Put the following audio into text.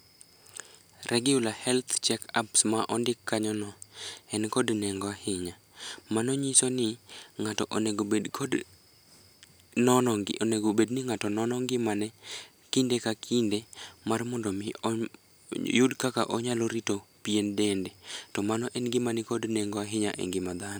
Regular health checkups ma ondik kanyono en kod nengo ahinya. Mano nyiso ni ng'ato onego bed ni ng'ato nono ngimane kinde ka kinde mar mondo omi oyud kaka onyalo rito pien dende, to mano en gioma nikod nengo ahinya e ngima dhano.